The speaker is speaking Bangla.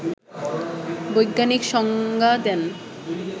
বৈজ্ঞানিক সংজ্ঞা দেন